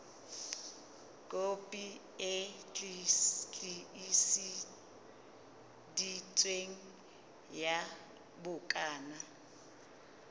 kopi e tiiseditsweng ya bukana